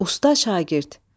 Usta şagird.